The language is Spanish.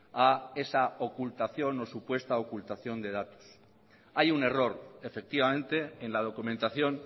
a esa ocultación o supuesta ocultación de datos hay un error efectivamente en la documentación